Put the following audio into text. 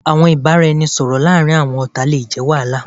Awọn ibaraẹnisọrọ laarin awọn ọta le jẹ wahala